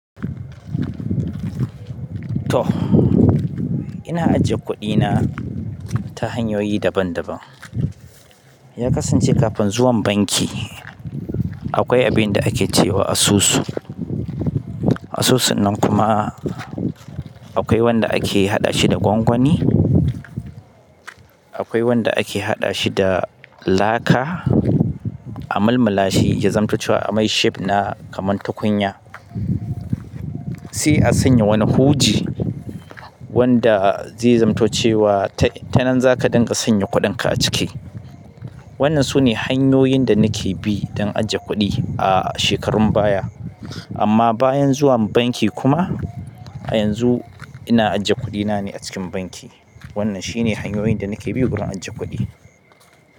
To, ina ajiye kuɗina ta hanyoyi daban daban. Ya kasance kafin zuwan banki akwai abin da ake ce wa asusu. Asusu nan kuma akwai wanda ake haɗa shi da gwangwani, akwai wanda ake haɗa shi da laka, a mulmula shi ya zamto cewa a mai shape na kaman tukunya. Sai a sanya wani huji wanda zai zamto cewa ta nan za ka dinga sanya kuɗinka a ciki. Wannan sune hanyoyin da nake bi don ajiye kuɗi a shekarun baya. Amma bayan zuwan banki kuma a yanzu ina ajiye kuɗina ne a cikin banki. Wannan shine hanyoyin da nake bi wurin ajiye kuɗi.